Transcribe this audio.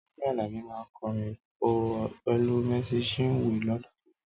Tọ́pẹ́ Àlàbí máa kọrin pọ̀ pẹ̀lú Mercy Chinwo lọ́dún tó ń bọ̀.